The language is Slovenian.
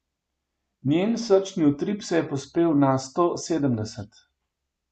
Njen srčni utrip se je povzpel na sto sedemdeset.